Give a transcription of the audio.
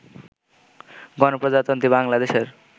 গণপ্রজাতন্ত্রী বাংলাদেশের